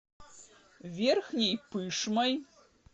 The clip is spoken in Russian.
верхней пышмой